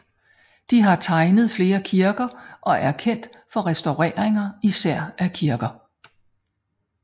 De har tegnet flere kirker og er kendt for restaureringer især af kirker